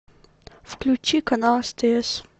включи канал стс